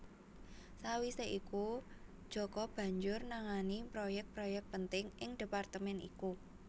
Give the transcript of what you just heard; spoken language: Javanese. Sawisé iku Djoko banjur nangani proyek proyek penting ing departemen iku